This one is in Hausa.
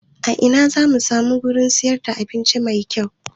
A ina zamu samu wurin siyar da abinci mai kyau?